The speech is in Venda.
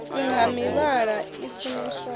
nn ha mivhala i funeswaho